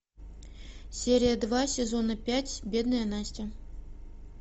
серия два сезона пять бедная настя